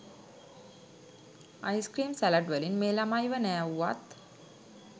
ice cream salad වලින් මේ ළමයිව නෑවුවත්